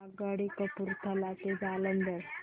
आगगाडी कपूरथला ते जालंधर